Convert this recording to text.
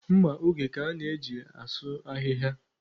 Mma oge ka a na-eji asụ ahịhịa.